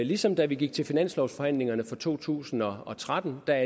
ligesom da vi gik til finanslovsforhandlingerne for to tusind og tretten da